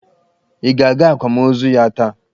Ị ga-aga akwamozu ya taa!